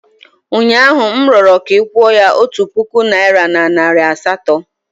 Ụnyaahụ, m rịọrọ ka ị kwụọ ya otu puku naịra na nari asatọ.